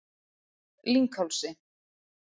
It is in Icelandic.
Lynghálsi